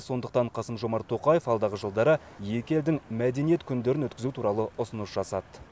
сондықтан қасым жомарт тоқаев алдағы жылдары екі елдің мәдениет күндерін өткізу туралы ұсыныс жасады